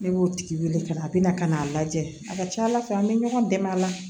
Ne b'o tigi wele ka na a bɛna ka n'a lajɛ a ka ca ala fɛ an bɛ ɲɔgɔn dɛmɛ a la